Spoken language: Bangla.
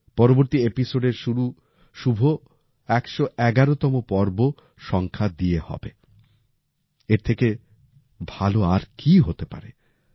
পরবর্তী এপিসোড এর শুরু শুভ ১১১তম সংখ্যা দিয়ে হবে এর থেকে ভালও আর কি হতে পারে